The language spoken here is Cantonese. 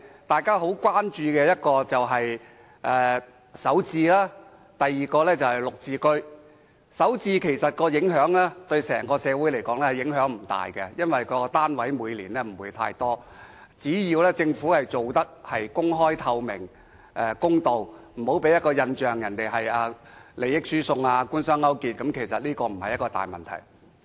對整個社會而言，首置盤的影響其實不大，因為每年供應的單位不會太多，只要政府能公開、透明和公道地進行，不要讓人有利益輸送或官商勾結的印象，便不會構成大問題。